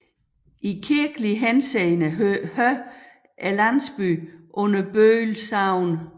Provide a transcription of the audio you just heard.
I kirkelig henseende hører landsbyen under Bøl Sogn